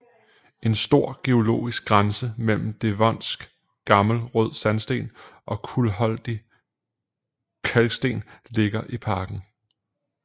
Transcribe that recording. En stor geologisk grænse mellem devonsk gammel rød sandsten og kulholdig kalksten ligger i parken